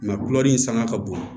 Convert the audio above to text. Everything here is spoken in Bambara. kulɛri sanga ka bon